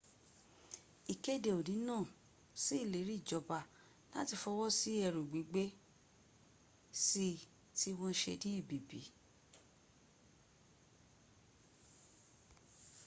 ikede oni na sí ileri ijoba lati fowo sí eru gbigbe sii ti wọ́́n se ní èbìbí